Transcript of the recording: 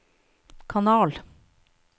kanal